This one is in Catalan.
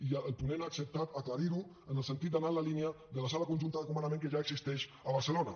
i el ponent ha acceptat aclarir ho en el sentit d’anar en la línia de la sala conjunta de comandament que ja existeix a barcelona